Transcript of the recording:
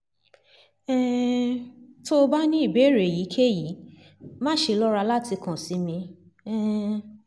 um tó o bá ní ìbéèrè èyíkéyìí máṣe lọ́ra láti kàn sí mi um